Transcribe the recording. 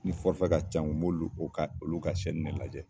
Ni ka ca n kun, n m'olu, u ka ne lajɛ.